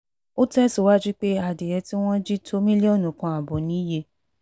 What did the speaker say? ó tẹ̀síwájú pé adìẹ tí wọ́n jí tó mílíọ̀nù kan ààbọ̀ níye